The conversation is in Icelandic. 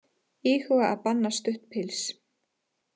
Íhuga að banna stutt pils